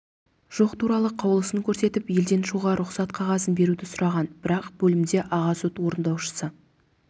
жоқ туралы қаулысын көрсетіп елден шығуға рұқсат қағазын беруді сұраған бірақ бөлімде аға сот орындаушы